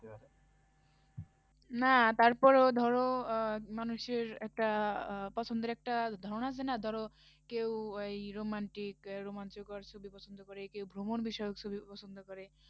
না তার পরেও ধরো আহ মানুষের একটা আহ পছন্দের একটা ধারণা আছে না, ধরো কেউ এই romantic আহ রোমাঞ্চকর ছবি পছন্দ করে, কেউ ভ্রমণ বিষয়ক ছবি পছন্দ করে